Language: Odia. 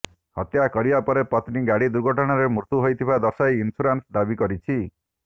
ହତ୍ୟା କରିବା ପରେ ପତ୍ନୀ ଗାଡ଼ି ଦୁର୍ଘଟଣାରେ ମୃତ୍ୟୁ ହୋଇଥିବା ଦର୍ଶାଇ ଇନ୍ସ୍ୟୁରାନ୍ସ ଦାବି କରିଛି